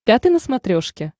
пятый на смотрешке